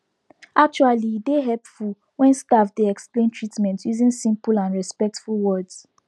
actually e dey hepful wen staf dey explain treatment using simple and respectful words